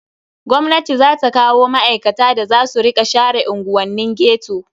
Gwamnati za ta kawo ma'aikata da za su rika share unguwannin ghetto.